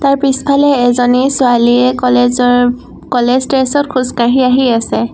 তাৰ পিছফালে এজনী ছোৱালীয়ে কলেজ ৰ কলেজ ড্ৰেছ ত খোজ কাঢ়ি আহি আছে।